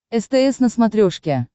стс на смотрешке